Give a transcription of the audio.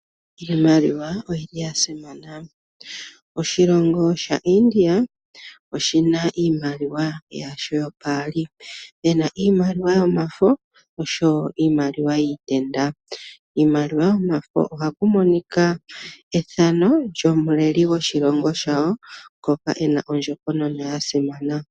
Iimaliwa oyili ya simana. Oshilongo shaIndia oshina iimaliwa yasho yopaali. Pena iimaliwa yomafo osho wo iimaliwa yiitenda. Kiimaliwa yomafo ohaku monika ethano lyomuleli gwoshilongo shawo ngoka ena ondjokonona ya simana.